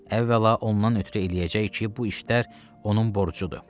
Əvvəla ondan ötrü eləyəcək ki, bu işlər onun borcudur.